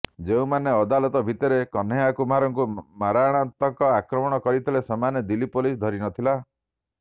ଯେଉଁମାନେ ଅଦାଲତ ଭିତରେ କହ୍ନେୟା କୁମାରଙ୍କୁ ମରଣାନ୍ତକ ଆକ୍ରମଣ କରିଥିଲେ ସେମାନଙ୍କୁ ଦିଲ୍ଲୀ ପୋଲିସ ଧରି ନଥିଲା